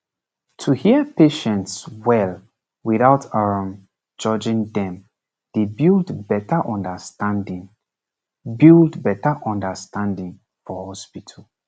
to hear patients well without um judging dem dey build better understanding build better understanding for hospital